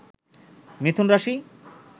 মিথুন রাশি